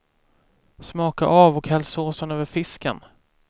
Smaka av och häll såsen över fisken.